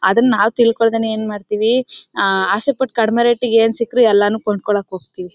ಅದನ್ನ ನಾವು ತಿಳ್ಕೊಳ್ಳದೇನೆ ಏನ್ ಮಾಡ್ತೀವಿ ಅಸೆ ಪಟ್ಟು ಕಡಿಮೆ ರೇಟ್ ಗೆ ಏನ್ ಸಿಕ್ರು ಕೊಂಡು ಕೊಳ್ಳಕ್ಕೆ ಹೋಗ್ತಿವಿ.